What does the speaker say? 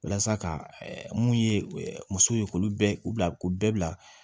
Walasa ka mun ye musow ye k'u bɛɛ u bila k'u bɛɛ bila